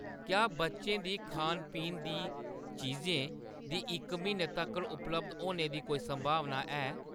क्या बच्चें दी खान-पीन दी चीजें दी इक म्हीनै तक्कर उपलब्ध होने दी कोई संभावना है ?